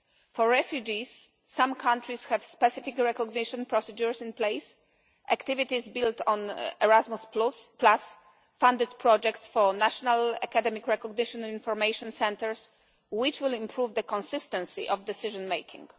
For refugees, some countries have specific recognition procedures in place. Activities built on Erasmus funded projects for national academic recognition and information centres, which will improve the consistency of decision making.